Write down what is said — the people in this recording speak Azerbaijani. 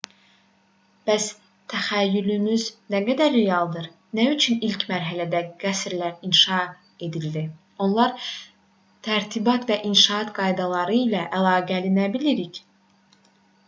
bəs təxəyyülümüz nə dərəcədə realdır nə üçün ilk mərhələdə qəsrlər inşa edildi onlar tərtibat və inşaat qaydaları ilə əlaqəli nə bilirik